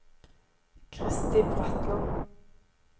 Kristi Bratland